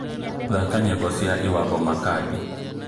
thaka nyĩmbo cia lwambo makadi